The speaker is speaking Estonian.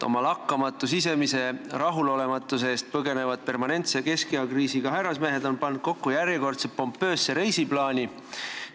Oma lakkamatu sisemise rahulolematuse eest põgenevad permanentset keskeakriisi üle elavad härrasmehed on pannud kokku järjekordse pompoosse reisiplaani.